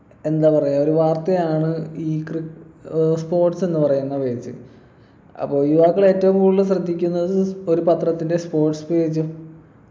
എന്താ പറയാ ഒരു വാർത്തയാണ് ഈ crick ഏർ sports എന്ന് പറയുന്ന page അപ്പൊ യുവാക്കൾ ഏറ്റവും കൂടുതൽ ശ്രദ്ധിക്കുന്നത് ഒരു പത്രത്തിൻ്റെ sports page ഉം